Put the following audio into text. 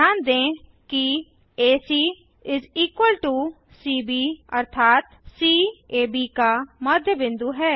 ध्यान दें कि एसी सीबी अर्थात सी एबी का मध्य बिंदु है